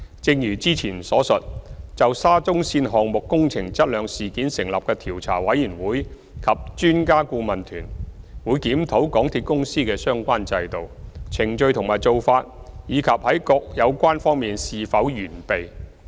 正如之前所述，就沙中線項目工程質量事件成立的調查委員會及專家顧問團，會檢討港鐵公司的相關制度、程序和做法，以及在各有關方面是否完備。